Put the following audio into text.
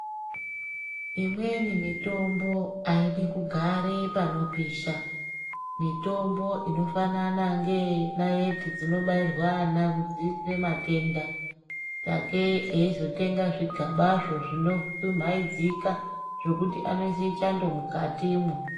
Imweni mitombo haidi kugare panopisha. Mitombo inofanana ngeye naiti dzinobairwe ana kudziirira matenda sakei eizotenga zvigabazvo zvinodumhaidzika zvekuti anosise chando mukatimwo.